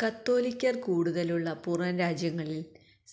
കത്തോലിക്കര് കൂടുതലുള്ള പുറംരാജ്യങ്ങളില്